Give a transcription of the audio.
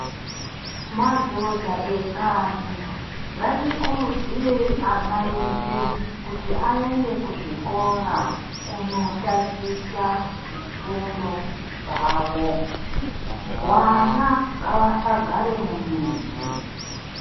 Madhodha ekanyi ngatikurudzire ana edu kuti aende kuzvikora kundotaticha zvifundo zvawo vana ngavasagara mumizi.